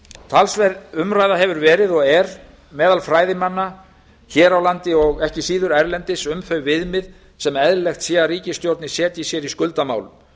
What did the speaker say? talsverð umræða hefur verið og er meðal fræðimanna hér á landi og ekki síður erlendis um þau viðmið sem eðlilegt sé að ríkisstjórnir setji sér í skuldamálum